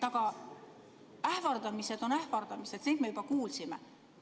Ähvardamised on ähvardamised ja neid me juba kuulsime.